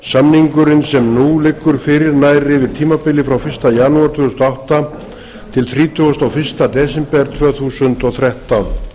samningurinn sem nú liggur fyrir nær yfir tímabilið frá fyrsta janúar tvö þúsund og átta til þrítugasta og fyrsta desember tvö þúsund og þrettán